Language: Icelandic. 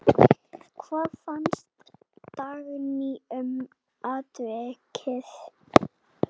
Hvað fannst Dagný um atvikið?